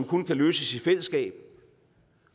kun kan løses i fællesskab